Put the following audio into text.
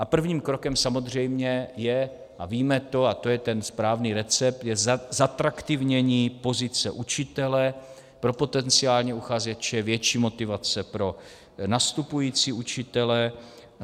A prvním krokem samozřejmě je, a víme to, a to je ten správný recept, je zatraktivnění pozice učitele pro potenciální uchazeče, větší motivace pro nastupující učitele.